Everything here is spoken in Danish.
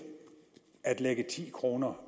at lægge ti kroner